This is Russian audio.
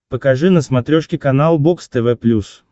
покажи на смотрешке канал бокс тв плюс